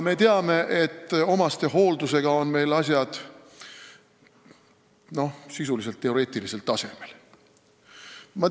Me teame, et omastehooldusega on meil asjad sisuliselt teoreetilisel tasemel.